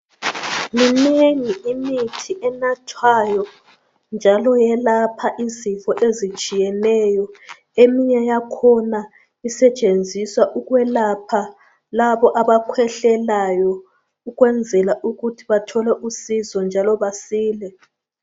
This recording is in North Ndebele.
Minengi imithi yokwelapha njalo yelapha izifo ezitshiyeneyo eminye yakhona isetshenziswa ukwelapha labo abakhwehlelayo ukwenzela ukuthi bathole usizo njalo basile.